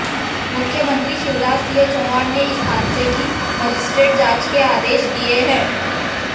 मुख्यमंत्री शिवराज सिंह चौहान ने इस हादसे की मजिस्ट्रेट जांच के आदेश दिए हैं